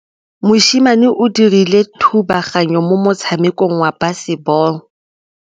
Mosimane o dirile thubaganyô mo motshamekong wa basebôlô.